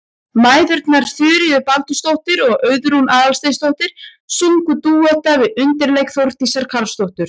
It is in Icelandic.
Mæðgurnar Þuríður Baldursdóttir og Auðrún Aðalsteinsdóttir sungu dúetta við undirleik Þórdísar Karlsdóttur.